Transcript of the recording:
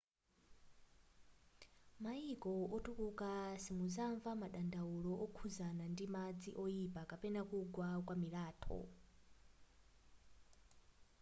maiko otukuka simuzanva madandaulo okhuzana ndi madzi oipa kapena kugwa kwa milatho